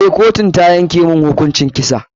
Eh, kotun ta yanke mun hukuncin kisa.